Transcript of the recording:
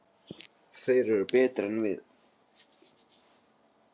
Þeir eru betri en við.